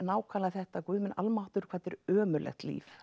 þetta Guð minn almáttugur hvað er ömurlegt líf